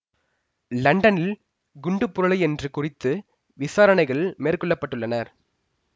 லண்டனில் குண்டுப் புரளி ஒன்று குறித்து விசாரணைகள் மேற்கொள்ள பட்டுள்ளன